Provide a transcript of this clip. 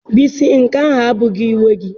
Bisi nke ahụ abụghị uwe gị.